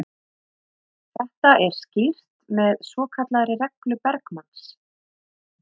Þetta er skýrt með svokallaðri reglu Bergmanns.